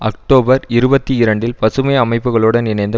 October இருபத்தி இரண்டில் பசுமை அமைப்புகளுடன் இணைந்து